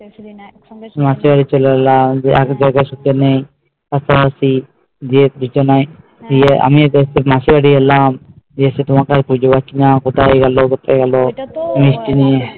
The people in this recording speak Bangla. মাসির বাড়ি চলে এলাম আমি মাসি বাড়ি এলাম এসে তোমাকে খুঁজে পাচ্ছি না কোথায় গেল